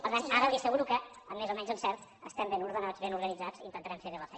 per tant ara li asseguro que amb més o menys encert estem ben ordenats ben organitzats i intentarem fer bé la feina